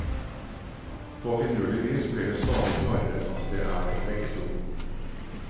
På finurlig vis blir det stadig klarere at det er begge to.